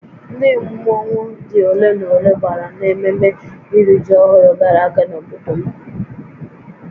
Ndị mmọnwu dị ole na ole gbàrà n'ememme iri ji ọhụrụ gara aga n'obodo m